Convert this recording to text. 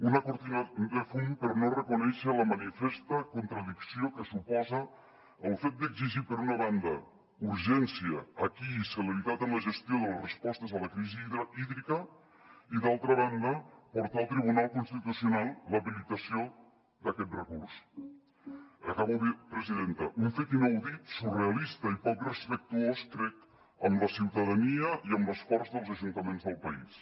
una cortina de fum per no reconèixer la manifesta contradicció que suposa el fet d’exigir per una banda urgència aquí i celeritat en la gestió de les respostes a la crisi hídrica i d’altra banda portar al tribunal constitucional l’habilitació d’aquest recurs acabo presidenta un fet inaudit surrealista i poc respectuós crec amb la ciutadania i amb l’esforç dels ajuntaments del país